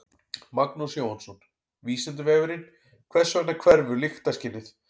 Magnús Jóhannsson: Vísindavefurinn: Hvers vegna hverfur lyktarskynið?